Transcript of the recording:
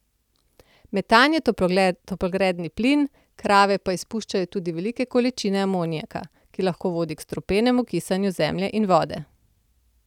Metan je toplogredni plin, krave pa izpuščajo tudi velike količine amoniaka, ki lahko vodi k strupenem kisanju zemlje in vode.